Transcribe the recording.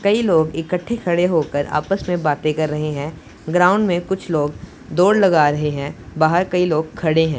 कई लोग इकट्ठे खड़े होकर आपस में बातें कर रहे हैं ग्राउंड में कुछ लोग दौड़ लगा रहे हैं बाहर कई लोग खड़े हैं।